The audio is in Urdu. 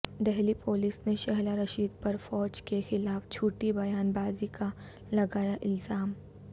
دہلی پولس نے شہلا رشید پر فوج کے خلاف جھوٹی بیان بازی کا لگایا الزام